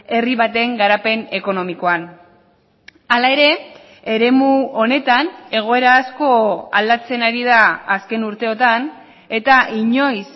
herri baten garapen ekonomikoan hala ere eremu honetan egoera asko aldatzen ari da azken urteotan eta inoiz